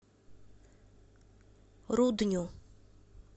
рудню